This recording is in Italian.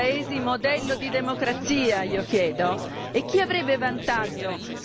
In Cina e in Russia, vi sembrano questi paesi modello di democrazia, io chiedo?